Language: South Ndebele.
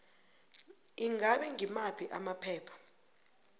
ingabe ngimaphi amaphepha